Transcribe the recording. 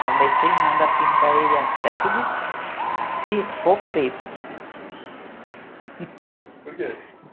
Comecei e mando a pintar ele até que ficou preto. Por que?